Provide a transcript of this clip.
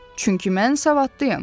Çünki mən savadlıyam.